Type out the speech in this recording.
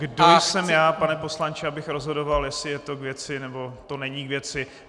Kdo jsem já, pane poslanče, abych rozhodoval, jestli je to k věci, nebo to není k věci.